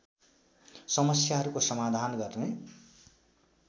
समस्याहरूको समाधान गर्ने